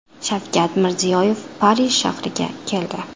Shavkat Mirziyoyev Parij shahriga keldi.